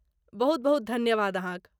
बहुत बहुत धन्यवाद अहाँक।